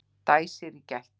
Dæsir í gættinni.